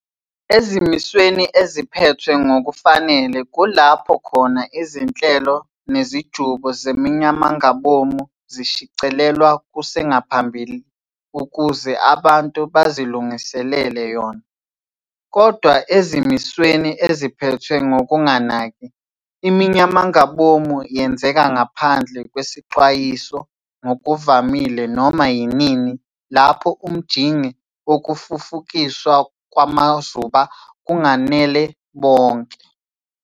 Ezimisweni eziphethwe ngokufanele, kulapho khona izinhlelo nezijubo zeminyamangabomu zishicilelwa kusengaphambili ukuze abantu bazilunguselele yona. Kodwana ezimisweni eziphethwe ngokunganaki, iminyamangabomu yenzeka ngaphandle kwesixwayiso, ngokuvamile noma yinini lapho umjinge wokufufukiswa kwamazuba kunganele bonke.